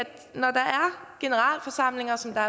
generalforsamlinger som der